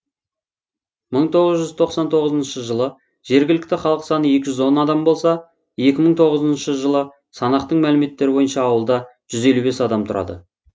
мың тоғыз жүз тоқсан тоғызыншы жылы жергілікті халық саны екі жүз он адам болса екі мың тоғызыншы жылы санақтың мәліметтері бойынша ауылда жүз елу бес адам тұрады